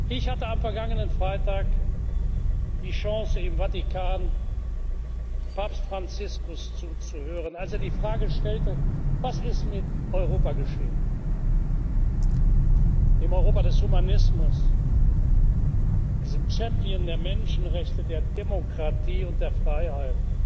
Ich hatte am vergangenen Freitag die Chance, im Vatikan Papst Franziskus zuzuhören, als er die Frage stellte Was ist mit Europa geschehen, dem Europa des Humanismus, diesem Champion der Menschenrechte, der Demokratie und der Freiheit?